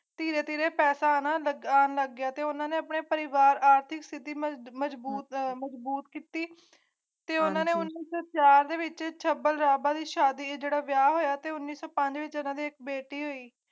ਧੀਰੇ ਧੀਰੇ ਪਤਾ ਨਾ ਲੱਗਾ ਲੱਗਿਆ ਤਾਂ ਉਨ੍ਹਾਂ ਨੇ ਪਰਿਵਾਰ ਆਰਥਿਕ ਸਥਿਤੀ ਮਜ਼ਬੂਤ ਸਥਿਤੀ ਤੇ ਉਨ੍ਹਾਂ ਨੂੰ ਮੁਫ਼ਤ ਵਿਚ ਛਪਣ ਦਾ ਬਾਦਸ਼ਾਹ ਦਿੱਤਾ ਗਿਆ ਹੈ ਅਤੇ ਉਨ੍ਹਾਂ ਦੇ ਇਕ ਬੇਟਾ ਹਈ